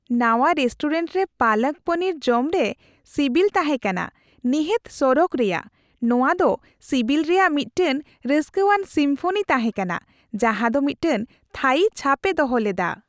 ᱱᱟᱶᱟ ᱨᱮᱥᱴᱩᱨᱮᱱᱴ ᱨᱮ ᱯᱟᱞᱟᱠ ᱯᱚᱱᱤᱨ ᱡᱚᱢᱨᱮ ᱥᱤᱵᱤᱞ ᱛᱟᱦᱮᱸ ᱠᱟᱱᱟ ᱱᱤᱦᱟᱹᱛ ᱥᱚᱨᱚᱜ ᱨᱮᱭᱟᱜ , ᱱᱚᱶᱟ ᱫᱚ ᱥᱤᱵᱤᱞ ᱨᱮᱭᱟᱜ ᱢᱤᱫᱴᱟᱝ ᱨᱟᱹᱥᱠᱟᱹᱣᱟᱱ ᱥᱤᱢᱯᱷᱚᱱᱤ ᱛᱟᱦᱮᱸ ᱠᱟᱱᱟ ᱡᱟᱦᱟᱸᱫᱚ ᱢᱤᱫᱴᱟᱝ ᱛᱷᱟᱹᱭᱤ ᱪᱷᱟᱯᱮ ᱫᱚᱦᱚ ᱞᱮᱫᱟ ᱾